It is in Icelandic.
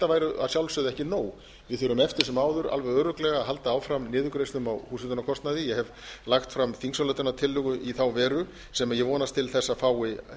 væri að sjálfsögðu ekki nóg við þurfum eftir sem áður alveg örugglega að halda áfram niðurgreiðslum á húshitunarkostnaði ég hef lagt fram þingsályktunartillögu í þá veru sem ég vonast til þess að fái